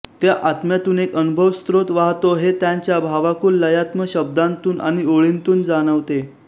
त्या आत्म्यातून एक अनुभवस्रोत वाहतो हे त्यांच्या भावाकुल लयात्म शब्दांतून आणि ओळींतून जाणवते